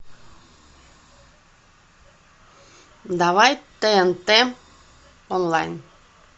давай тнт онлайн